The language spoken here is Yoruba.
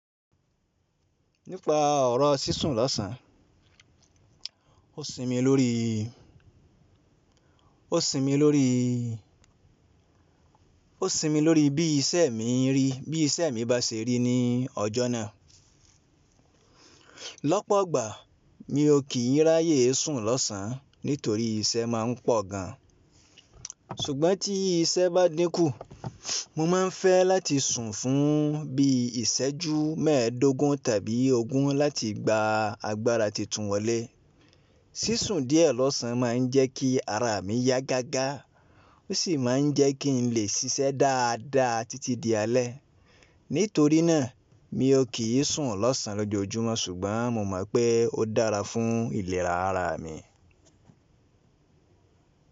Nípa ọ̀rọ̀ sísùn lọ́sàn án, ó sinmi lórí, ó sinmi lórí, ó sinmi lórí bí iṣẹ́ mi ń rí, bí iṣẹ́ mi bá ṣe rí ní ọjọ́ náà. Lọ́pọ̀gbà, mi ò kì í ráyè sùn lọ́sàn án nítorí iṣẹ́ máa ń pọ̀ gan an. Ṣùgbọ́n tí iṣẹ́ bá dínkù, mo máa ń fẹ́ láti sùn fún bí i ìṣẹ́jú mẹ́ẹ̀ẹ́dógún tàbí ogún láti gba agbára titun wọlé. Sísùn díẹ̀ lọ́sàn á máa ń jẹ́ kí ara mi yá gágá, ó sì máa ń jẹ́ kí n lè ṣiṣẹ́ dáadáa títí di alẹ́. Nítorí náà, mi ò kì í sùn lọ́sàn án lójoojúmọ́ ṣùgbọ́n mo mọ̀ pé ó dára fún ìlera ara mi.